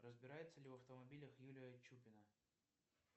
разбирается ли в автомобилях юлия чупина